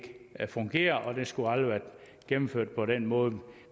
fungerer og at det aldrig skulle have været gennemført på den måde